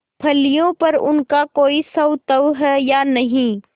फलियों पर उनका कोई स्वत्व है या नहीं